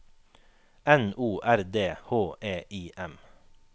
N O R D H E I M